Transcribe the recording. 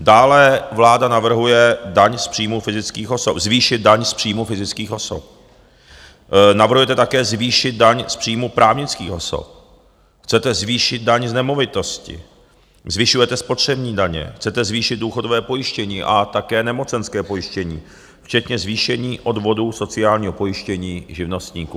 Dále vláda navrhuje zvýšit daň z příjmu fyzických osob, navrhujete také zvýšit daň z příjmu právnických osob, chcete zvýšit daň z nemovitosti, zvyšujete spotřební daně, chcete zvýšit důchodové pojištění a také nemocenské pojištění včetně zvýšení odvodů sociálního pojištění živnostníků.